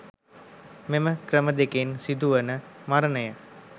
මෙම ක්‍රම දෙකින් සිදු වන මරණය